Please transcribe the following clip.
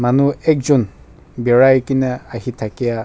manu ekjont berai kina ahe thakia--